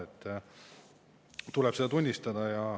Seda tuleb tunnistada.